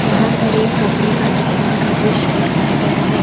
यहां पर एक कपड़े का दुकान का दृश्य दिखाया गया है।